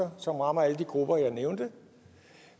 som rammer alle de grupper jeg nævnte